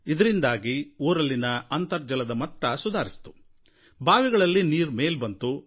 ಇದರಿಂದಾಗಿ ಊರಲ್ಲಿನ ಅಂತರ್ಜಲ ಮಟ್ಟ ಸುಧಾರಿಸಿತು ಬಾವಿಗಳಲ್ಲಿ ನೀರು ಮೇಲೆ ಬಂತು